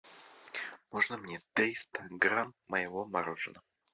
можно мне триста грамм моего мороженого